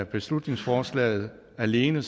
beslutningsforslaget alene